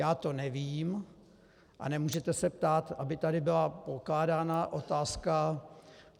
Já to nevím a nemůžete se ptát, aby tady byla pokládána otázka.